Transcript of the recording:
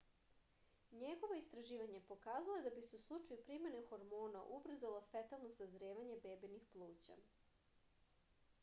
njegovo istraživanje pokazalo je da bi se u slučaju primene hormona ubrzalo fetalno sazrevanje bebinih pluća